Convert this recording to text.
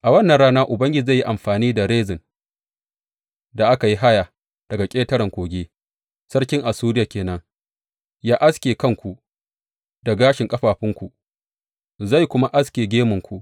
A wannan rana Ubangiji zai yi amfani da rezan da aka yi haya daga ƙetaren Kogi, sarkin Assuriya ke nan, yă aske kanku da gashin ƙafafunku, zai kuma aske gemunku.